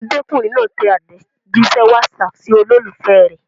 Ọmọdékùnrin náà tẹ àtẹ̀jíṣẹ́ WhatsApp sí olólùfẹ́ rẹ̀.